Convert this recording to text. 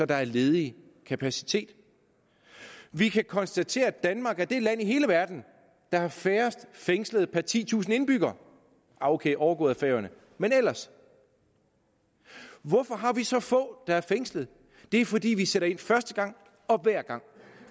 der er ledig kapacitet vi kan konstatere at danmark er det land i hele verden der har færrest fængslede per titusind indbyggere ok overgået af færøerne men ellers hvorfor har vi så få der er fængslet det er fordi vi sætter ind første gang og hver gang